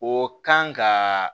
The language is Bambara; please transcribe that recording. O kan ka